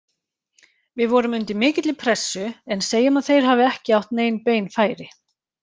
Við vorum undir mikilli pressu, en segjum að þeir hafi ekki átt nein bein færi.